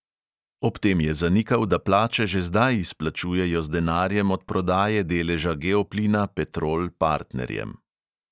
Ob tem je zanikal, da plače že zdaj izplačujejo z denarjem od prodaje deleža geoplina petrol partnerjem.